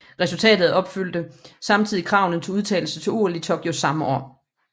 Resultatet opfyldte samtidig kravene til udtagelse til OL i Tokyo samme år